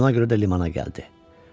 Buna görə də limana gəldi.